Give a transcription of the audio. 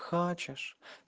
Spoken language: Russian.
хочешь